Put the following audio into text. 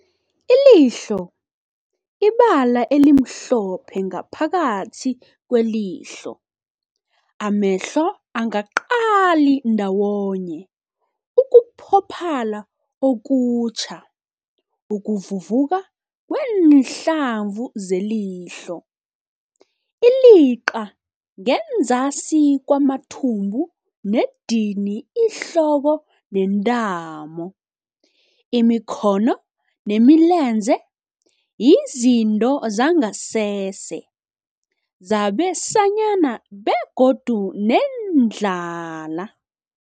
Ilihlo, ibala elimhlophe ngaphakathi kwelihlo, amehlo angaqali ndawonye, ukuphophala okutjha, ukuvuvuka kwenhlavu zelihlo. Iliqa, ngenzasi kwamathumbu nedini ihloko nentamo, imikhono nemilenze, izitho zangasese zabesanyana begodu neendlala.